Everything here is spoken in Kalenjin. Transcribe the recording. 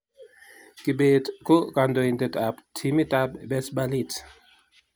Kibet ko kandoindet ab timit ab Besbalit